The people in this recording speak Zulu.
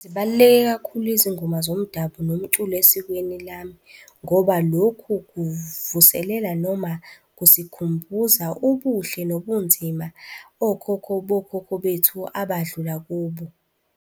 Zibaluleke kakhulu izingoma zomdabu nomculo esikweni lami ngoba lokhu kuvuselela noma kusikhumbuza ubuhle nobunzima okhokho bokhokho bethu abadlula kubo.